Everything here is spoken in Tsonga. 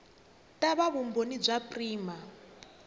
ta va vumbhoni bya prima